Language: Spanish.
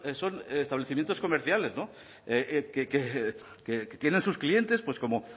son establecimientos comerciales que tienen sus clientes pues como